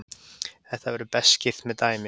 Þetta verður best skýrt með dæmi.